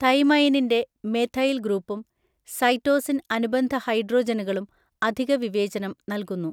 തൈമൈനിന്റെ methyl ഗ്രൂപ്പും cytosine അനുബന്ധ ഹൈഡ്രോജനുകളും അധിക വിവേചനം നൽകുന്നു.